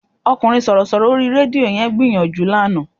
Arákùnrin Sọ̀rọ̀ṣọ̀rọ̀ orí rédíò yẹn gbìyànjú lánàá